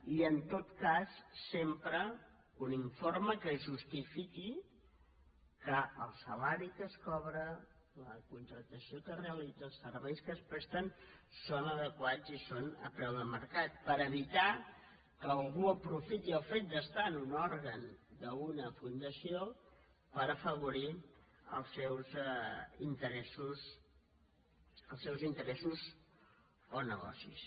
i en tot cas sempre un informe que justifiqui que el salari que es cobra la contractació que es realitza els serveis que es presten són adequats i són a preu de mercat per evitar que algú aprofiti el fet d’estar en un òrgan d’una fundació per afavorir els seus interessos o negocis